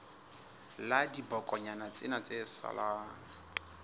la dibokonyana tsena tse salang